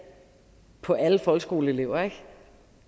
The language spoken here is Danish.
på alle folkeskoleelever